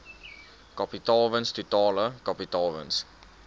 kapitaalwins totale kapitaalwins